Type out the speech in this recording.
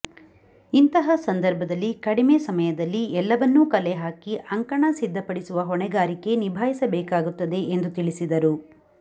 ಇಂತಹ ಸಂದರ್ಭದಲ್ಲಿ ಕಡಿಮೆ ಸಮಯ ದಲ್ಲಿ ಎಲ್ಲವನ್ನೂ ಕಲೆ ಹಾಕಿ ಅಂಕಣ ಸಿದ್ಧಪಡಿಸುವ ಹೊಣೆ ಗಾರಿಕೆ ನಿಭಾಯಿಸಬೇಕಾಗುತ್ತದೆ ಎಂದು ತಿಳಿಸಿದರು